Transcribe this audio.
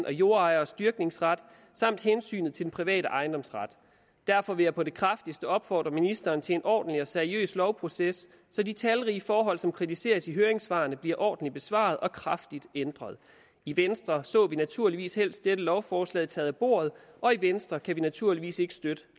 og jordejernes dyrkningsret samt hensynet til den private ejendomsret derfor vil jeg på det kraftigste opfordre ministeren til en ordentlig og seriøs lovproces så de talrige forhold som kritiseres i høringssvarene bliver ordentligt besvaret og kraftigt ændret i venstre så vi naturligvis helst dette lovforslag taget bordet og i venstre kan vi naturligvis ikke støtte